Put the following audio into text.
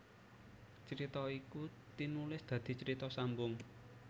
Crita iku tinulis dadi carita sambung